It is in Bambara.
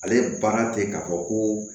Ale ye baara ten k'a fɔ ko